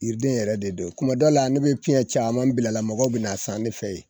Yiriden yɛrɛ de do kuma dɔ la ne bɛ piyɛn caman bila a la mɔgɔw bɛn'a san ne fɛ ye.